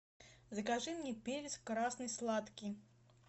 закажи мне перец красный сладкий